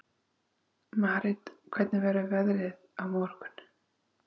Marit, hvernig verður veðrið á morgun?